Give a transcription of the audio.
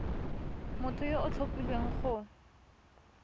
motho yo o tlhophilweng go